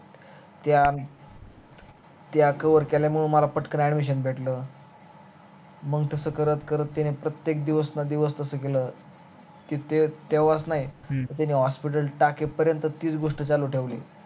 त्या त्या cover केल्यामुळे मला पटकन admission भेटलं मग तस करत करत त्यान प्रत्यक दिवसन दिवस कस केल कित्यक तेव्हाच नाही hospital टाके पर्यंत तीच गोष्ट चालू ठेवली